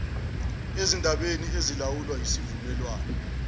ezindabeni ezilawulwa yisivumelwane